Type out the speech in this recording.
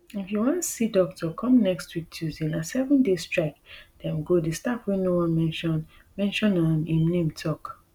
if you wan see doctor come next week tuesday na seven days strike dem go di staff wey no wan mention mention um im name tok